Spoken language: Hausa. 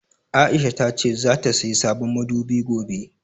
Aisha tace zata sayi sabon madubi gobe.